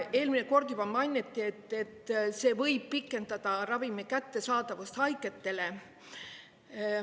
Eelmine kord juba mainiti, et see võib pikendada ravimi kättesaadavust haigetele.